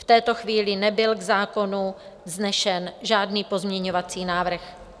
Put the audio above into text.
V této chvíli nebyl k zákonu vznesen žádný pozměňovací návrh.